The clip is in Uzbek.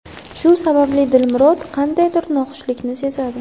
Shu sababli Dilmurod qandaydir noxushlikni sezadi.